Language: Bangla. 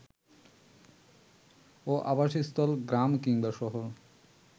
ও আবাসস্থল গ্রাম কিংবা শহর